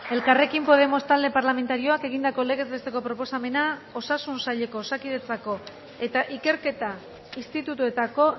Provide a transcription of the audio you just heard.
elkarrekin podemos talde parlamentarioak egindako legez besteko proposamena osasun saileko osakidetzako eta ikerketa institutuetako